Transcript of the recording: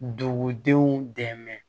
Dugudenw dɛmɛ